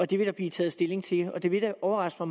det vil der blive taget stilling til og det ville da overraske